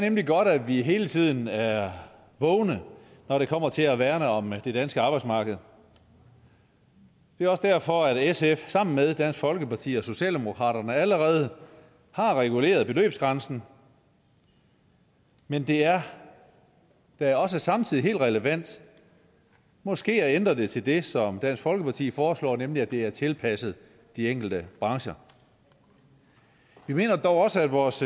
nemlig godt at vi hele tiden er vågne når det kommer til at værne om det danske arbejdsmarked det er også derfor at sf sammen med dansk folkeparti og socialdemokratiet allerede har reguleret beløbsgrænsen men det er da også samtidig helt relevant måske at ændre det til det som dansk folkeparti foreslår nemlig at det er tilpasset de enkelte brancher vi mener dog også at vores